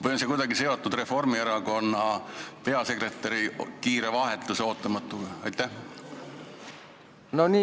Või on see kuidagi seotud Reformierakonna peasekretäri kiire ja ootamatu vahetusega?